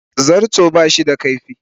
Zarto ba shi da kaifi.